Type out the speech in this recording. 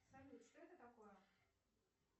салют что это такое